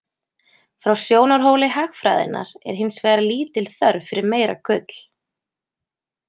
Frá sjónarhóli hagfræðinnar er hins vegar lítil þörf fyrir meira gull.